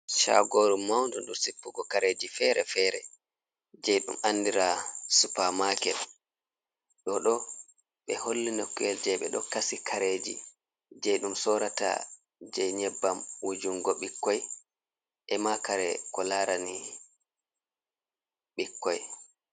Caagoru mawndu ndu sippugo kareji fere-fere, jey ɗum anndira supamaket. Ɗoɗo ɓe holli nokkuyel, jey ɓe ɗo kasi kareji jey ɗum sorata, jey nyebbam wujungo ɓikkoy ema kare ko laarani ɓikkoy.